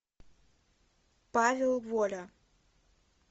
павел воля